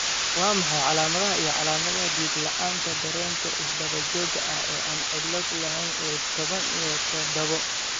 Waa maxay calaamadaha iyo calaamadaha Dhego-la'aanta, dareenka is-daba-joogga ah ee aan cillad lahayn ee tobaan iyo tadawo ?